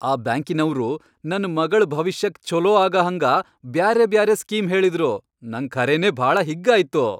ಆ ಬ್ಯಾಂಕಿನವ್ರು ನನ್ ಮಗಳ್ ಭವಿಷ್ಯಕ್ ಛೋಲೋ ಆಗಹಂಗ ಬ್ಯಾರೆಬ್ಯಾರೆ ಸ್ಕೀಮ್ ಹೇಳಿದ್ರು, ನಂಗ್ ಖರೇನೇ ಭಾಳ ಹಿಗ್ಗಾಯ್ತು.